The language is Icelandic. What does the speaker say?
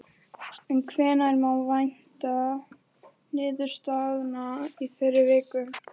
En hvenær má vænta niðurstaðna í þeirri vinnu?